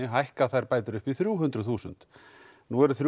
hækkað þær bætur upp í þrjú hundruð þúsund nú er þrjú